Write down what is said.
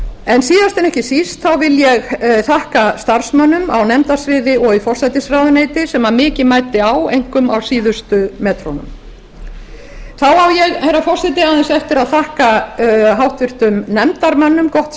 en síðast en ekki síst vil ég þakka starfsmönnum á nefndasviði og í forsætisráðuneytinu sem mikið mæddi á einkum á síðustu metrunum þá á ég herra forseti aðeins eftir að þakka háttvirtum nefndarmönnum gott